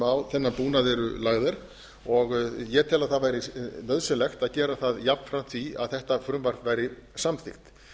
búnað eru lögð og ég tel að að væri nauðsynlegt að gera það jafnframt því að þetta frumvarp væri samþykkt